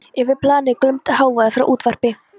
Yfir planið glumdi hávaði frá útvarpi.